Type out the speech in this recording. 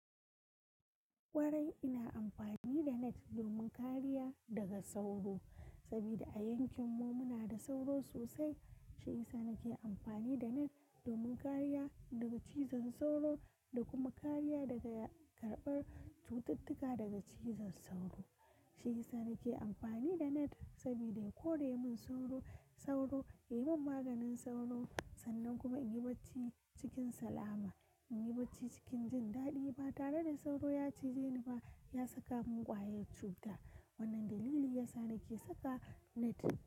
Kwarai ina amfani da net domin kariya daga sauro, saboda a yankinmu muna da sauro sosai. Shi yasa nake amfani da net domin kariya daga cizon sauro da kuma kariya daga karɓar cututtuka daga cizon sauro. Shi yasa nake amfani da net saboda ya kore min sauro, sauro, ya yi min maganin sauro, sannan kuma in yi bacci cikin salama, in yi bacci cikin jin daɗi ba tare da sauro ya cije ni ba, ya saka mun ƙwayar cuta. Wannan dalili yasa nake saka net.